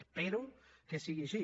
espero que sigui així